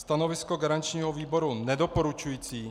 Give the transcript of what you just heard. Stanovisko garančního výboru nedoporučující.